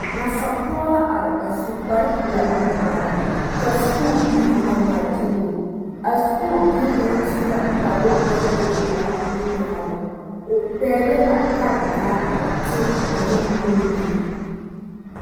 Nasapɔge la are a su kpar pelaa nuŋmaara ka Sakubiiri a ŋmaa gyiluu ka sakubie kaŋ su la kparoo naŋ e pelaa nuŋmaara o pɛgele la karetaa a teɛ ane nuure